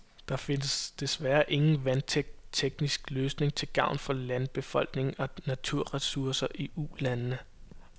Der findes deværre ingen vandtæt teknisk løsning til gavn for landbefolkning og naturressourcer i ulandene.